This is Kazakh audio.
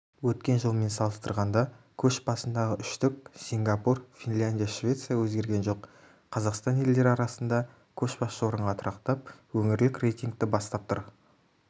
өткен жылмен салыстырғанда көш басындағы үштік сингапур финляндия швеция өзгерген жоқ қазақстан елдері арасында көшбасшы орынға тұрақтап өңірлік рейтингті бастап тұр